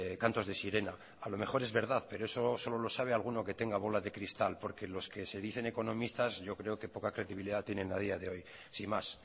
cantos de sirena a lo mejor es verdad pero eso solo lo sabe alguno que tenga bola de cristal porque los que se dicen economistas yo creo que poca credibilidad tienen a día de hoy sin más